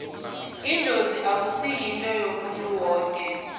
idlozi akusi yinto yomuntu woke